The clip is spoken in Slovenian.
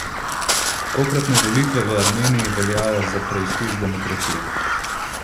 Tokratne volitve v Armeniji veljajo za preizkus demokracije.